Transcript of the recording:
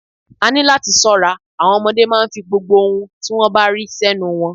A ní láti ṣọ́ra, àwọn ọmọdé máa ń fi gbogbo ohun tí wón bá rí sẹ́nu wọn.